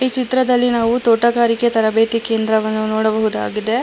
ಚಿತ್ರದಲ್ಲಿ ನಾವು ತೋಟಗಾರಿಕೆ ತರಬೇತಿ ಕೇಂದ್ರವನ್ನು ನೋಡಬಹುದಾಗಿದೆ.